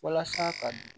Walasa ka